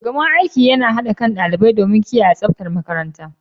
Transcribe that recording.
Shugaban aiki yana haɗa kain ɗalibai don kiyaye tsaftar muhallin makaranta.